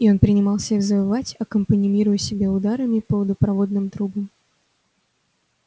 и он принимался её завывать аккомпанируя себе ударами по водопроводным трубам